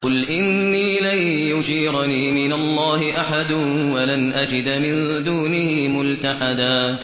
قُلْ إِنِّي لَن يُجِيرَنِي مِنَ اللَّهِ أَحَدٌ وَلَنْ أَجِدَ مِن دُونِهِ مُلْتَحَدًا